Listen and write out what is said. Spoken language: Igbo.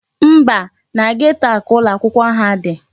Mba, na geto a ka ụlọakwụkwọ ha dị.